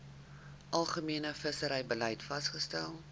algemene visserybeleid vasgestel